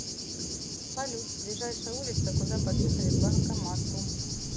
салют ближайшая улица куда подъехать к банкомату